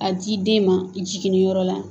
A di i den ma i jiginni yɔrɔ la